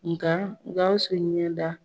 Nka Gawusu ɲɛda